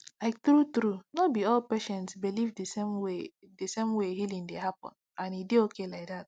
like truetrue no be all patients believe the same way healing same way healing dey happen and e dey okay like that